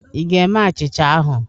Ị ga-eme achịcha ahụ?